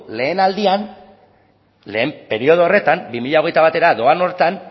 lehen aldian lehen periodo horretan bi mila hogeita batera doan horretan